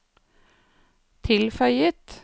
tilføyet